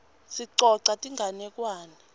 sicoca tinganekwane